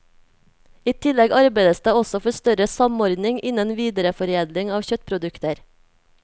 I tillegg arbeides det også for større samordning innen videreforedling av kjøttprodukter.